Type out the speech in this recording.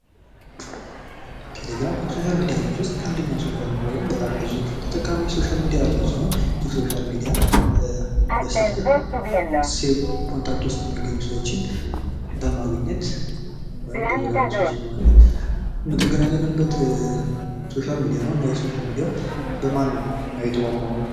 ቴሌግራም ከሶሻል ሚዲያ ውስጥ አንደኛው ሶሻል ሚዲያ ወይም በጣም ብዙ ተጠቃሚ ያለው ሶሻል ሚዲያ ሲሆን ይህ ሶሻል ሚዲያ በስልክ ሲም ኮንታክት ውስጥ የሚገኙ ሰዎችን በማግኘት ወይም በዙሪያ ያሉ ሰዎችን በማግኘት የተገናኘንበት ሶሻል ሚዲያ ነው እና ይህ ሶሻል ሚዲያ በማን ነው የተቋቋመው?